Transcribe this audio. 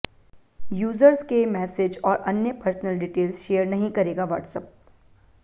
users के message और अन्य पर्सनल डिटेल्स शेयर नहीं करेगा व्हाट्सऐप